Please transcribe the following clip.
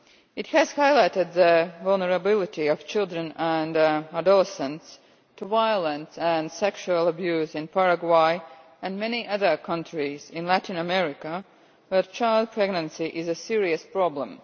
It has highlighted the vulnerability of children and adolescents to violence and sexual abuse in Paraguay and many other countries in Latin America, where child pregnancy is a serious problem.